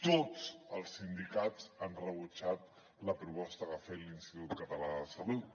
tots els sindicats han rebutjat la proposta que ha fet l’institut català de la salut